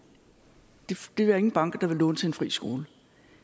det er der ingen banker der vil låne til en fri skole